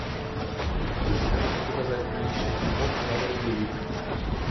можешь показать приличный фильмок в жанре боевик